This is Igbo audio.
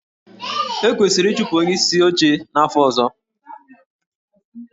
E kwesịrị ịchụpụ onyeisi oche n'afọ ọzọ?